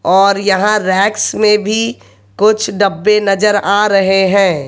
और यहां रेक्स में भी कुछ डब्बे नजर आ रहे हैं।